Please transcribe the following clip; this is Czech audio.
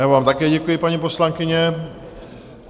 Já vám také děkuji, paní poslankyně.